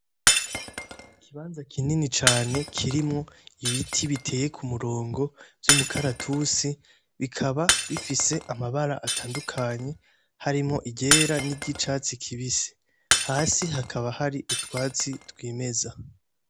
Ikibanza kinini cane kirimwo ibiti biteye ku murongo vy'umukaratusi bikaba bifise amabara atandukanye harimo igera n'iryo icatsi kibise hasi hakaba hari utwatsi twimeza.